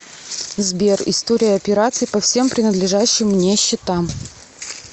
сбер история операций по всем принадлежащим мне счетам